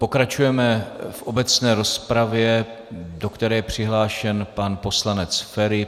Pokračujeme v obecné rozpravě, do které je přihlášen pan poslanec Feri.